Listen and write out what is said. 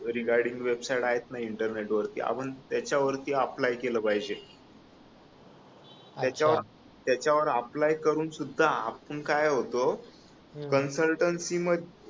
regarding website आहेत ना internet वरती आपण त्याच्या वरती अप्लाय केल पाहिजे त्याच्यावर अप्लाय करुन सुद्धा आपण काय होतो कन्सल्टन्सी मध्ये